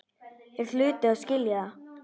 Þeir hlutu að skilja það.